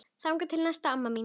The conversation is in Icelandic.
Þangað til næst amma mín.